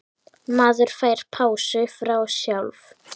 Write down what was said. Maður fær pásu frá sjálf